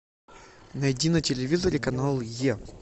найди на телевизоре канал е